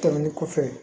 Tɛmɛnen kɔfɛ